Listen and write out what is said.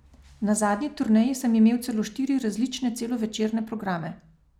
Na zadnji turneji sem imel celo štiri različne celovečerne programe.